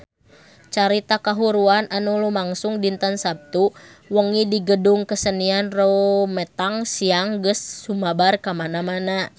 Carita kahuruan anu lumangsung dinten Saptu wengi di Gedung Kesenian Rumetang Siang geus sumebar kamana-mana